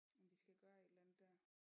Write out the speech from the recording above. Om vi skal gøre et eller andet dér